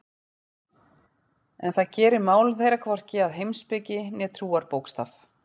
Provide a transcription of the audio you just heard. En það gerir mál þeirra hvorki að heimspeki né trúarbókstaf.